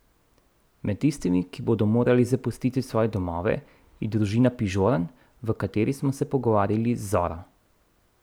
Med tistimi, ki bodo morali zapustiti svoje domove, je družina Pižorn, v kateri smo se pogovarjali z Zoro.